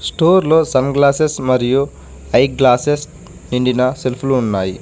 Store లో sunglasses మరియు eye glasses నిండిన సెల్ఫులు ఉన్నాయి.